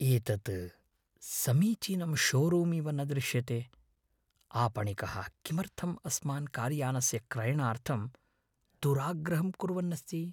एतत् समीचीनं शोरूम् इव न दृश्यते। आपणिकः किमर्थम् अस्मान् कार्यानस्य क्रयणार्थम् दुराग्रहं कुर्वन्नस्ति?